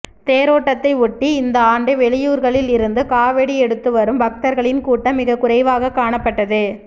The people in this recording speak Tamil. தேரோட்டத்தை ஒட்டி இந்த ஆண்டு வெளியூா்களில் இருந்து காவடி எடுத்து வரும் பக்தா்களின் கூட்டம் மிகக் குறைவாக காணப்பட்டது